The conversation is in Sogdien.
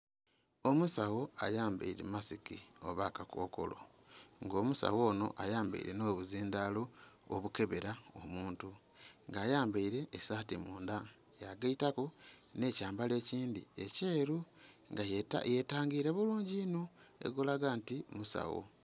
Omusawo ayambaile masiki oba akakokolo nga omusawo onho ayambaile nho buzindhaalo obukebera omuntu. Nga ayambaile esaati mundha ya gaitaku nhe kyambalo ekindhi ekyeru nga yetangire bulungi inho ali kulaga nti omusawo.